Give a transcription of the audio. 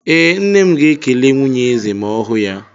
Ee, Nne m ga-ekele nwunye eze ma ọ hụ ya.